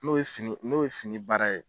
N'o ye fini n'o ye fini baara ye.